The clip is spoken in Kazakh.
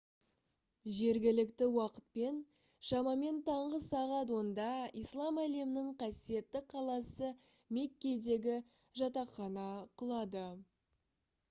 жергілікті уақытпен шамамен таңғы сағат 10-да ислам әлемінің қасиетті қаласы меккедегі жатақхана құлады